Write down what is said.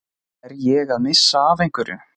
Er ég að missa af einhverju?